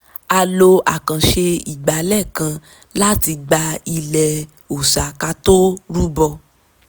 a lo àkànṣe ìgbálẹ̀ kan láti gbá ilẹ̀ òòsà ká tó rúbọ